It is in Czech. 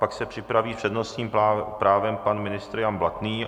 Pak se připraví s přednostním právem pan ministr Jan Blatný.